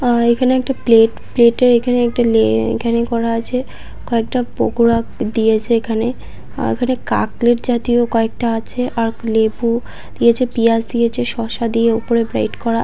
আহ এখানে একটা plate plate -এ এখানে একটা লে এখানে করা আছে । কয়েকটা পকোড়া দিয়েছে এখানে আহ এখানে কাকলেট জাতীয় কয়েকটা আছে আর লেবু দিয়েছে পিঁয়াজ দিয়েছে শসা দিয়ে ওপরে গ্রেড করা ।